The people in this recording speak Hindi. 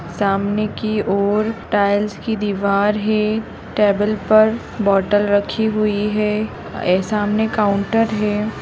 सामने की ओर टाइल्स की दीवार है टेबल पर बोतल रखी हुई है ए सामने काउंटर है।